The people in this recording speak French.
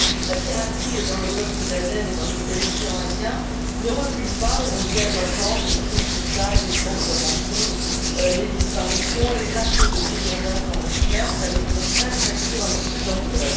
La piraterie dans le golfe d'Aden et l'océan Indien ne recule pas on vient de l'entendre les prises d'otages, les demandes de rançons, les disparitions, les actes de brigandage en haute mer prennent, au contraire, chaque jour un peu plus d'ampleur.